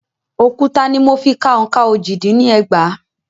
Òkúta ni mo fi ka òǹkà ojì-dín-ní ẹgbàá.